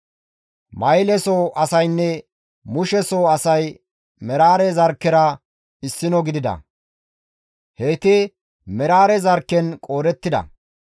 Mahile soo asaynne Mushe soo asay Meraare zarkkera issino gidida; heyti Meraare zarkken qoodettida.